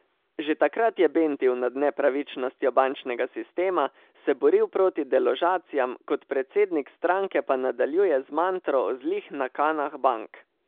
Že takrat je bentil nad nepravičnostjo bančnega sistema, se boril proti deložacijam, kot predsednik stranke pa nadaljuje z mantro o zlih nakanah bank.